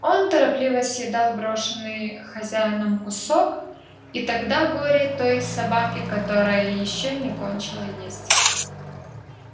он торопливо съедал брошенный хозяином кусок и тогда горе той собаке которая ещё не кончила есть